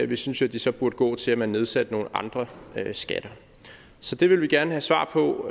vi synes at de så burde gå til at man nedsatte nogle andre skatter så det vil vi gerne have svar på